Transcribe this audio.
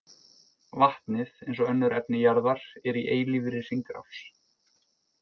Vatnið, eins og önnur efni jarðar, er í eilífri hringrás.